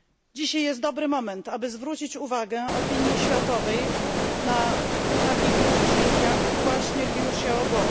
Dzisiaj jest dobry moment, aby zwrócić uwagę opinii światowej na takich ludzi jak właśnie Liu Xiaobo.